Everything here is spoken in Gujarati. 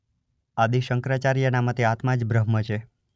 આદિ શંકરાચાર્યના મતે આત્મા જ બ્રહ્મ છે.